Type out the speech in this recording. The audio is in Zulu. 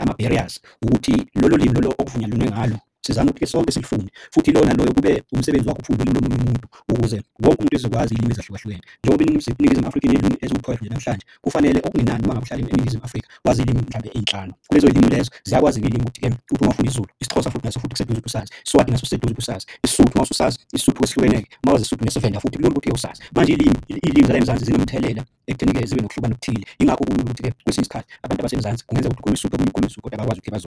ama-barriers ukuthi lolo limi lolo okuvunyelwene ngalo. Sizame ukuthi-ke sonke silifunde futhi ilona naloyo kube umsebenzi wakhe ukufunda ulimi lomunye umuntu ukuze wonke umuntu ezokwazi iy'limi ezahlukahlukene. Njengoba inzuzo eNingizimu Afrika siney'limu eziwu-twelve nje namhlanje kufanele okungenani uma ngabe uhlala eNingizimu Afrika wazi iy'limi mhlampe ey'nhlanu. Kulezo limu lezo ziyakwazi-ke iy'limi ukuthi-ke uthi uma ufunde isiZulu, isiXhosa futhi naso futhi kuseduze ukuthi usazi iSwati naso siseduze ukuthi usazi isiSuthu uma usase isiSuthu sihlukene-ke, uma wazi isiSuthu nesiVenda futhi kulula ukuthi usazi. Manje iy'limi iy'limu zala emzansi zinomthelela ekutheni-ke zibe nokuhlukana okuthile. Yingakho kulula ukuthi-ke kwesinye isikhathi abantu abasemzansi kungenza ukuthi ukhulume isiSuthu omunye ukhuluma isiZulu kodwa bayakwazi ukuthi .